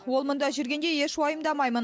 ол мұнда жүргенде еш уайымдамаймын